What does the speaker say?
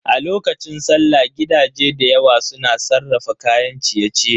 A lokacin sallah gidaje dayawa su na sarrafa kayan ciye-ciye.